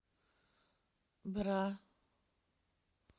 бра